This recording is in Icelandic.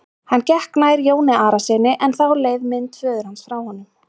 Hann gekk nær Jóni Arasyni en þá leið mynd föður hans frá honum.